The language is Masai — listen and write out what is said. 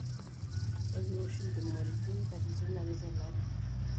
Ekiwosh intumorit katitin are tolari.